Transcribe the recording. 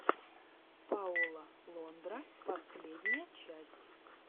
пауло лондра последняя часть